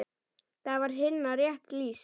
Þar var Hinna rétt lýst.